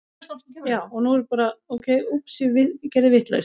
Flugþjónn lokaði barn inni